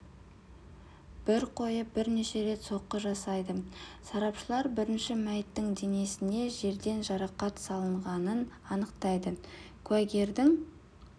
бір қойып бірнеше рет соққы жасайды сарапшылар бірінші мәйіттің денесіне жерден жарақат салынғанын анықтайды куәгердің